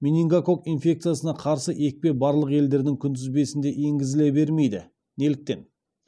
менингококк инфекциясына қарсы екпе барлық елдердің күнтізбесінде енгізіле бермейді неліктен